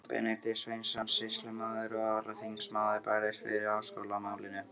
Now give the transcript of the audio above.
Benedikt Sveinsson, sýslumaður og alþingismaður, barðist fyrir háskólamálinu.